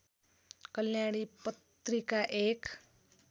कल्याणी पत्रिका एक